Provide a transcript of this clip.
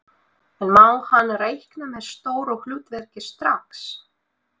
En má hann reikna með stóru hlutverki strax?